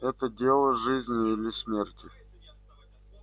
это дело жизни или смерти